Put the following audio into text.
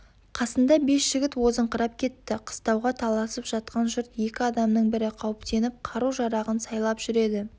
қасында бес жігіт озыңқырап кетті қыстауға таласып жатқан жұрт екі адамның бірі қауіптеніп қару-жарағын сайлап жүреді